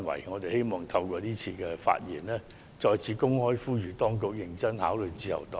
我們希望透過今次發言，再次公開呼籲當局認真考慮自由黨的建議。